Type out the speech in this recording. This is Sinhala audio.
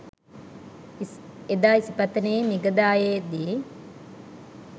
එදා ඉසිපතනයේ මිගදායේ දි